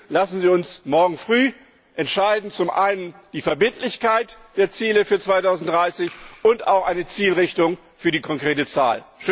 Deswegen Lassen Sie uns morgen früh entscheiden, zum einen die Verbindlichkeit der Ziele für 2030 und auch eine Zielrichtung für die konkrete Zahl.